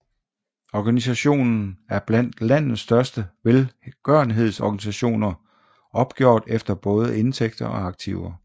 Organisationen er blandt landets største velgørenhedsorganisationer opgjort efter både indtægter og aktiver